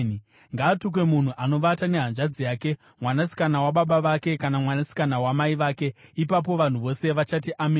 “Ngaatukwe munhu anovata nehanzvadzi yake, mwanasikana wababa vake, kana mwanasikana wamai vake.” Ipapo vanhu vose vachati, “Ameni!”